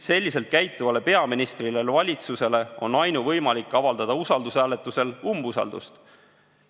Selliselt käituvale peaministrile ja valitsusele on ainuvõimalik avaldada usaldushääletusel umbusaldust.